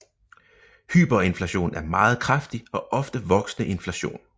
Hyperinflation er meget kraftig og ofte voksende inflation